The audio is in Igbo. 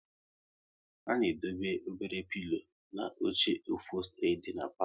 A na edobe obere pilo na oche ofostri dị n'palo